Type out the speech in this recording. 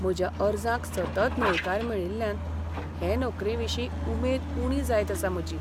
म्हज्या अर्जांक सतत न्हयकार मेळिल्ल्यान हे नोकरेविशीं उमेद उणी जायत आसा म्हजी.